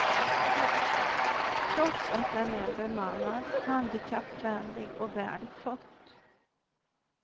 Trots att den är bemannad, handikappvänlig och väl skött.